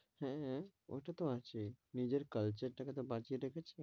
হেঁ, ঐটা তো আছেই, নিজের culture টা কে তো বাঁচিয়ে রেখেছে,